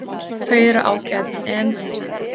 Þau eru ágæt en.